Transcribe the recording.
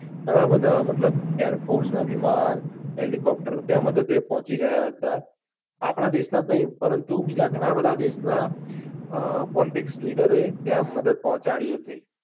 ઘણા બધા મતલબ air force નાં વિમાન, helicopter ત્યાં મદદ એ પહોચી ગયા હતા આપના દેશ નાં જ નહિ પરંતુ બીજા ઘણા બધા દેશ નાં leader એ ત્યાં મદદ પહોચાડી હતી.